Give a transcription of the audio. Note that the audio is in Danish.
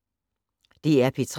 DR P3